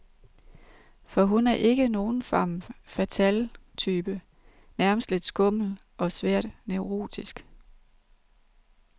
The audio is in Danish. For hun er ikke nogen femme fatale type, nærmest lidt skummel og svært neurotisk.